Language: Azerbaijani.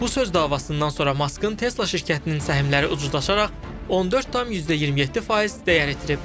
Bu söz davasından sonra Maskın Tesla şirkətinin səhmləri ucuzlaşaraq 14,27% dəyər itirib.